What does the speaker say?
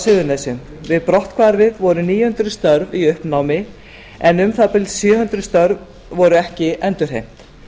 suðurnesjum við brotthvarf voru níu hundruð störf í uppnámi en um það bil sjö hundruð störf voru ekki endurheimt